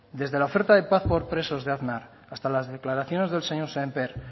desde la oferta de paz por presos de aznar hasta las declaraciones del señor sémper